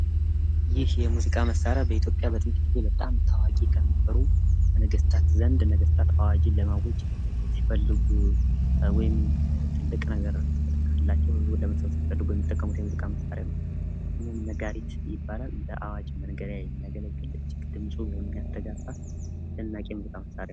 ይህ የሙዚቃ መሳሪያ በኢትዮጵያ በጥንት ጊዜ በጣም ታዋቂ የሚባሉ በነገስታት ዘንድ ነገስታት አዋጅን ለማወጅ ሲፈልጉ ወይም ትልቅ ነገር ካላቸው ህዝቡን ለመሰብሰብ የሚጠቀሙበት የሙዚቃ መሳሪያ ነው። ስሙም ነጋሪት ይባላል። ለአዋጅ መንገሪያ የሚያገለግል ድምጹም የሚያስተጋበ የሙዚቃ መሳሪያ ነው።